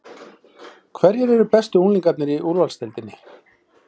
Hverjir eru bestu unglingarnir í úrvalsdeildinni?